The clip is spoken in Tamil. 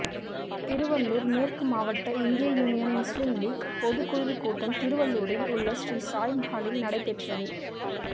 திருவள்ளூர் மேற்கு மாவட்ட இந்திய யூனியன் முஸ்லிம் லீக் பொதுக்குழு கூட்டம் திருவள்ளூரில் உள்ள ஸ்ரீ சாய் மஹாலில் நடைபெற்றது